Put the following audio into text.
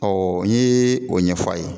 n ye o ɲɛfɔ a ye.